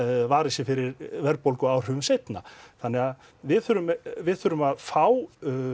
varið sig fyrir verðbólguáhrifum seinna þannig að við þurfum við þurfum að fá